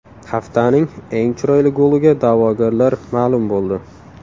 Haftaning eng chiroyli goliga da’vogarlar ma’lum bo‘ldi.